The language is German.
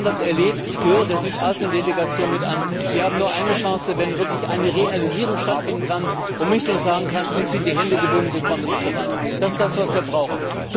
Wir haben das erlebt ich gehöre der Südasien Delegation mit an Wir haben nur eine Chance, wenn wirklich eine Realisierung stattfinden kann und man nicht einfach sagen kann, uns sind die Hände gebunden, wir kommen nicht voran. Das ist das, was wir brauchen.